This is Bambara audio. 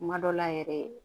Kuma dɔ la yɛrɛ